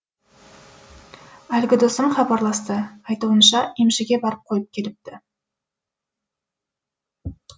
әлгі досым хабарласты айтуынша емшіге барып қойып келіпті